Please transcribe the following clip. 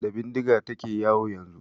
Da bindiga ta ke yawo yanzu.